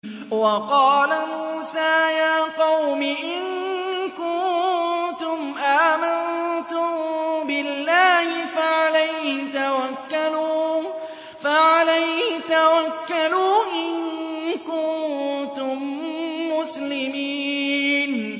وَقَالَ مُوسَىٰ يَا قَوْمِ إِن كُنتُمْ آمَنتُم بِاللَّهِ فَعَلَيْهِ تَوَكَّلُوا إِن كُنتُم مُّسْلِمِينَ